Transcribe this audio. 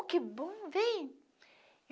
Oh, que bom, vem!